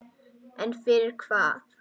En fyrir hvað?